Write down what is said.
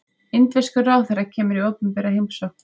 Indverskur ráðherra kemur í opinbera heimsókn